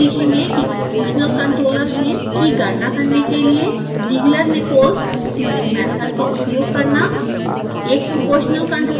इस ट्यूटोरियल में सीखेंगे कि proportional controller gain की गणना करने के लिए zieglernichols tuning method का उपयोग करना